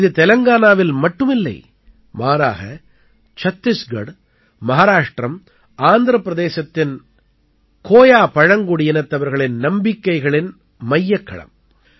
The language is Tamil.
இது தெலங்கானாவில் மட்டும் இல்லை மாறாக சத்தீஸ்கட் மஹாராஷ்ட்ரம் ஆந்திரப் பிரதேசத்தின் கோயா பழங்குடியினத்தவர்களின் நம்பிக்கைகளின் மையக்களம்